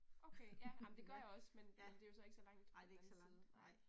Okay, ja. Ej men det gør jeg også men men det jo så ikke så langt fra den anden side